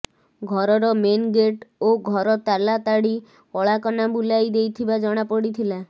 ଘରର main gate ଓ ଘର ତାଲା ତାଡି କଳାକନା ବୁଲାଇ ଦେଇଥିବା ଜଣାପଡିଥିଲା